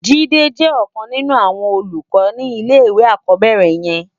Jide jè òkan ninú áwòn ólúkò ni ilé iwé ákòbèrè yèn